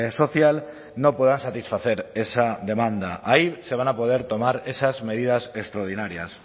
social no puedan satisfacer esa demanda ahí se van a poder tomar esas medidas extraordinarias